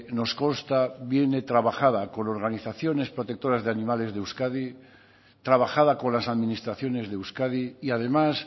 nos consta que viene trabajada con organizaciones protectoras de animales de euskadi trabajada con las administraciones de euskadi y además